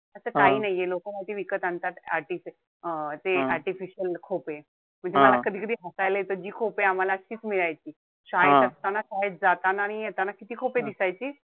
असं काही नाहीये. लोक माहितीये विकत आणतात जे artificial खोपे. म्हणजे मला कधी-कधी हसायला येत जी खोपे आम्हाला अशीच मिळायची. शाळेत असताना, शाळेत जाताना आणि येताना किती खोपे दिसायची?